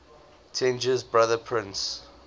tenji's brother prince